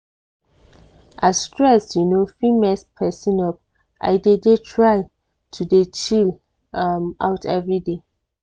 as stress um fit mess persin up i dey dey try to dey chill um out everyday.